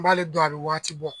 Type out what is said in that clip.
N b'ale dɔn a bɛ wagati bɔ.